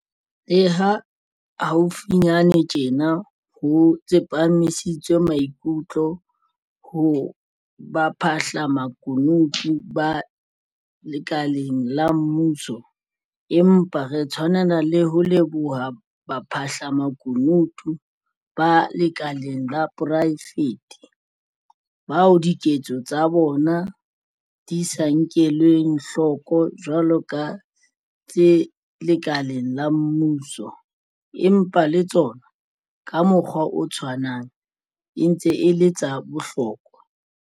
Le ha haufinyane tjena ho tsepamisitswe maikutlo ho baphahlamakunutu ba lekaleng la mmuso, empa re tshwanela le ho leboha baphahlamakunutu ba lekaleng la poraefete, bao diketso tsa bona di sa nkelweng hloko jwalo ka tsa tse lekaleng la mmuso, empa le tsona, ka mokgwa o tshwanang, e ntse e le tsa bohlokwa.